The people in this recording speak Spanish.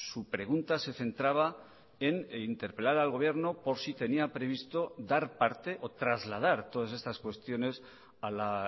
su pregunta se centraba en interpelar al gobierno por si tenía previsto dar parte o trasladar todas estas cuestiones a la